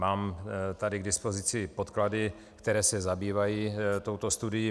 Mám tady k dispozici podklady, které se zabývají touto studií.